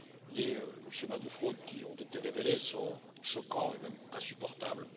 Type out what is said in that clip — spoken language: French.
Les schémas de fraudes qui ont été révélés sont choquants et même insupportables.